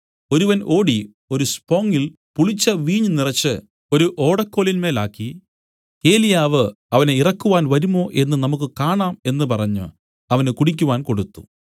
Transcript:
ഒരുവൻ ഓടി ഒരു സ്പോങ്ങിൽ പുളിച്ച വീഞ്ഞ് നിറച്ച് ഒരു ഓടക്കോലിന്മേലാക്കി ഏലിയാവ് അവനെ ഇറക്കുവാൻ വരുമോ എന്നു നമുക്കു കാണാം എന്നു പറഞ്ഞു അവന് കുടിക്കുവാൻ കൊടുത്തു